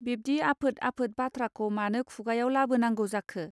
बिब्दि आफोद आफोद बाथ्राखौ मानो खुगायाव लाबोनांगौ जाखो.